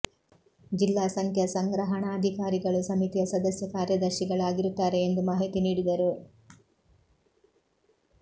ಜಿಲ್ಲಾ ಸಂಖ್ಯಾ ಸಂಗ್ರಹಣಾಧಿಕಾರಿಗಳು ಸಮಿತಿಯ ಸದಸ್ಯ ಕಾರ್ಯದರ್ಶಿಗಳಾಗಿರುತ್ತಾರೆ ಎಂದು ಮಾಹಿತಿ ನೀಡಿದರು